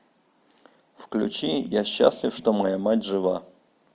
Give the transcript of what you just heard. включи я счастлив что моя мать жива